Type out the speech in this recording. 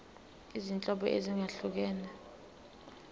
izinhlobo ezahlukene zemisho